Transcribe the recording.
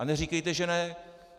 A neříkejte, že ne.